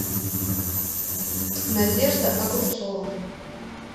надежда огурцова